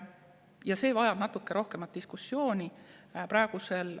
Ja see vajab natuke rohkem diskussiooni.